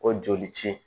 O joli ci